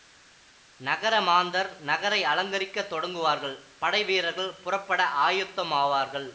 நகர மாந்தர் நகரை அலங்கரிக்கத் தொடங்குவார்கள் படை வீரர்கள் புறப்பட ஆயத்தமாவார்கள்